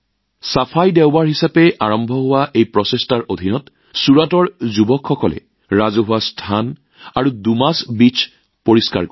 স্বচ্ছ দেওবাৰ হিচাপে আৰম্ভ হোৱা এই প্ৰচেষ্টাৰ অধীনত ছুৰাটে আগতে যুৱকযুৱতীসকলে ৰাজহুৱা স্থান আৰু ডুমাছ বীচ্ছ পৰিষ্কাৰ কৰিছিল